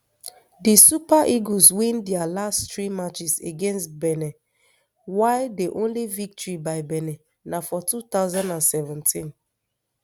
di super eagles win dia last three matches against benin while di only victory by benin na for two thousand and seventeen